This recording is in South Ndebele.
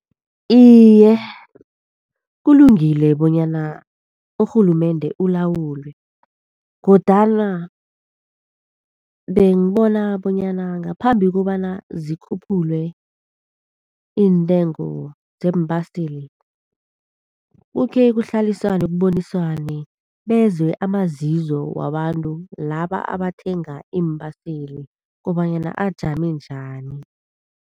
Iye, kulungile bonyana urhulumende ulawulwe. Kodwana bengibona bonyana ngaphambi kobana zikhuphulwe iintengo zeembaseli, kukhe kuhlaliswane kuboniswane. Bezwe amazizo wabantu laba abathenga iimbaseli kobanyana ajame njani?